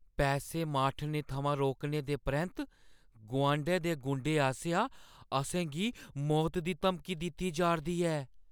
पैसे मुआठने थमां रोकने दे परैंत्त गुआंढै दे गुंडे आसेआ असें गी मौता दी धमकी दित्ती जा 'रदी ऐ।